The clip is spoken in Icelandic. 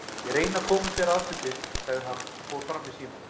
Ég reyni að koma þér að sem fyrst, sagði hann og fór fram í símann.